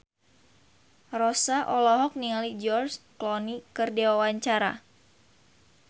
Rossa olohok ningali George Clooney keur diwawancara